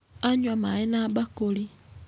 Anyua maĩ na bakũri.